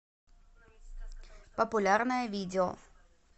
популярное видео